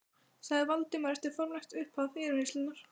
sagði Valdimar eftir formlegt upphaf yfirheyrslunnar.